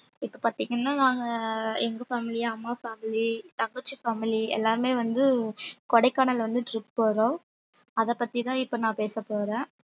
இப்ப பார்த்தீங்கன்னா நாங்க எங்க family அம்மா family தங்கச்சி family எல்லாமே வந்து கொடைக்கானல் வந்து trip போறோம் அதைப் பத்திதான் இப்ப நான் பேசப் போறேன்